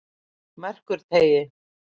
Merkurteigi